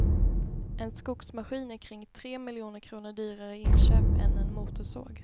En skogsmaskin är kring tre miljoner kronor dyrare i inköp än en motorsåg.